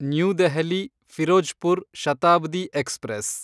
new Delhi Firozpur Shatabdi express